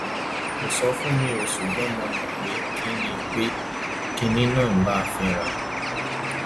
kò sọ fún mi o ṣùgbọn mo mọ pé kinní pé kinní náà ń bá a fínra